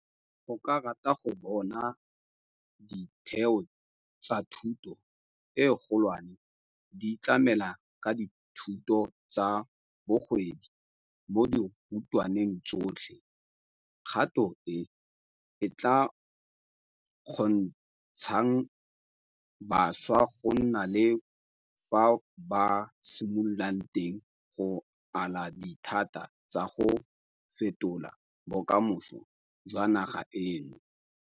O rata go bona ditheo tsa thuto e kgolwane di tlamela ka dithuto tsa bogwebi mo dirutweng tsotlhe, kgato e e tla kgontshang bašwa go nna le fa ba simololang teng go ala dithata tsa go fetola bokamoso jwa naga eno.